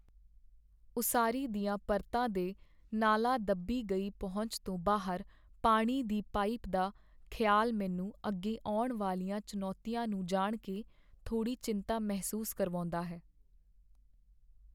ਉਸਾਰੀ ਦੀਆਂ ਪਰਤਾਂ ਦੇ ਨਾਲਾਂ ਦੱਬੀ ਗਈ ਪਹੁੰਚ ਤੋਂ ਬਾਹਰ ਪਾਣੀ ਦੀ ਪਾਈਪ ਦਾ ਖਿਆਲ ਮੈਨੂੰ ਅੱਗੇ ਆਉਣ ਵਾਲੀਆਂ ਚੁਣੌਤੀਆਂ ਨੂੰ ਜਾਣ ਕੇ, ਥੋੜੀ ਚਿੰਤਾ ਮਹਿਸੂਸ ਕਰਵਾਉਂਦਾ ਹੈ।